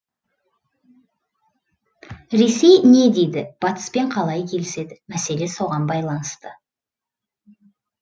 ресей не дейді батыспен қалай келіседі мәселе соған байланысты